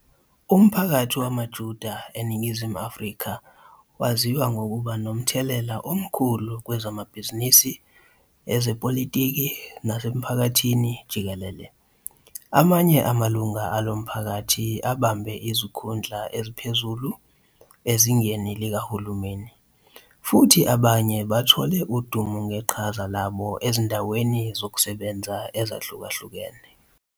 Umphakathi wamaJuda eNingizimu Afrika waziwa ngokuba nomthelela omkhulu kwezamabhizinisi, ezepolitiki, nasemphakathini jikelele. Amanye amalungu alo mphakathi abambe izikhundla eziphezulu ezingeni likahulumeni, futhi abanye bathole udumo ngeqhaza labo ezindaweni zokusebenza ezihlukahlukene.